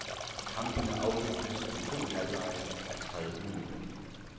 Kampene afvikles med to halvlege a tredive minutter.